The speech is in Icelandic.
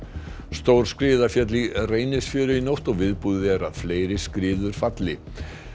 stór skriða féll í Reynisfjöru í nótt og viðbúið er að fleiri skriður geti fallið